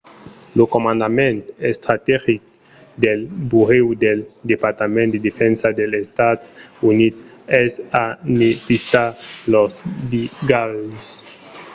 lo comandament estrategic del burèu del departament de defensa dels estats units es a ne pistar los brigalhs